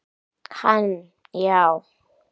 Hann já.